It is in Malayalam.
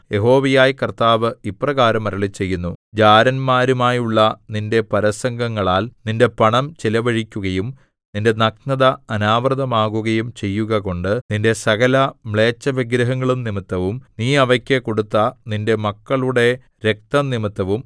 യഹോവയായ കർത്താവ് ഇപ്രകാരം അരുളിച്ചെയ്യുന്നു ജാരന്മാരുമായുള്ള നിന്റെ പരസംഗങ്ങളാൽ നിന്റെ പണം ചെലവഴിക്കുകയും നിന്റെ നഗ്നത അനാവൃതമാകുകയും ചെയ്യുകകൊണ്ട് നിന്റെ സകലമ്ലേച്ഛവിഗ്രഹങ്ങളും നിമിത്തവും നീ അവയ്ക്കു കൊടുത്ത നിന്റെ മക്കളുടെ രക്തംനിമിത്തവും